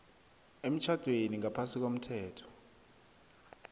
emtjhadweni ngaphasi komthetho